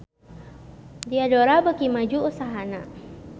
Diadora beuki maju usahana